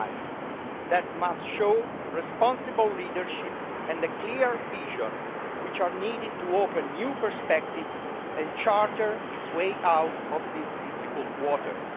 It must show responsible leadership and a clear vision, which are needed to open new perspectives and charter its way out of these difficult waters.